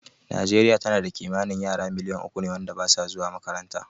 Nijeriya tana da kimanin yara miliyan uku ne wanda basu zuwa makaranta